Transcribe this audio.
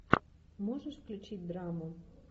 можешь включить драму